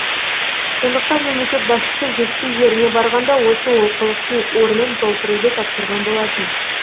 сондықтан мемлекет басшысы жетісу жеріне барғанда осы олқылықтың орнын толтыруды тапсырған болатын